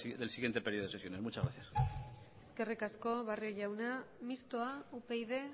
del siguiente periodo de sesiones eskerrik asko barrio jauna mistoa upyd